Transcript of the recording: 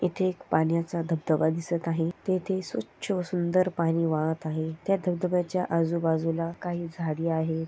इथे पाण्याचा दबदबा दिसत आहे तेथे स्वच्छ व सुंदर पाणी वाहत आहे त्या धबधब्याच्या आजू बाजूला काही झाडी आहे.